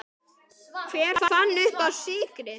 Hver fann uppá sykri?